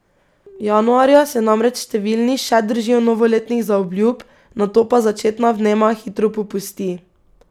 Januarja se namreč številni še držijo novoletnih zaobljub, nato pa začetna vnema hitro popusti.